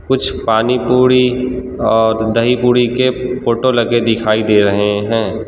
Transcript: कुछ पानीपुड़ी और दहीपुड़ी के फोटो लगे दिखाई दे रहे हैं।